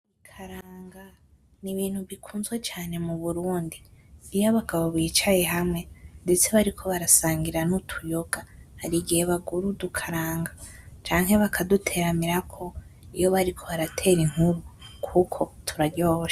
Ikaranga ni ibintu bikunzwe cane mu Burundi, iyo abagabo bicaye hamwe ndetse bariko barasangira n’utuyoga. Hari igihe bagura udukaranga canke bakaduteramirako iyo bariko baratera inkuru kuko turaryoshe.